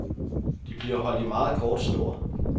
De bliver holdt i meget kort snor.